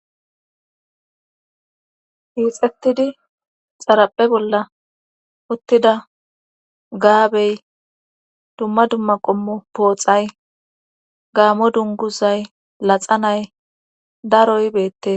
hiixettidi xaraphe bolla uttida gaabey dumma dumma qommo pooxay gaamo dunguzay laxa nay daroy beette